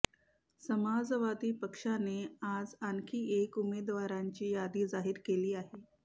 समाजवादी पक्षाने आज आणखी एक उमेदवारांची यादी जाहीर केली आहे